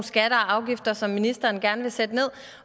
skatter og afgifter som ministeren gerne vil sætte ned